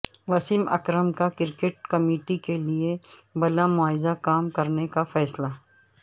وسیم اکرم کا cricket committee کیلئے بلامعاوضہ کام کرنے کا فیصلہ